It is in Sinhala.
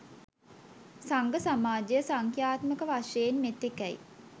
සංඝ සමාජය සංඛ්‍යාත්මක වශයෙන් මෙතෙකැයි